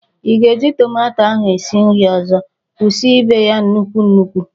Ị ga-eji tomato ahụ sie nri ọzọ. Kwụsị ibe ya nnukwu nnukwu!